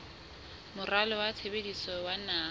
moralo wa tshebetso wa naha